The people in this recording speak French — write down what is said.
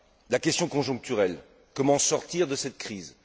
La question conjoncturelle comment sortir de cette crise?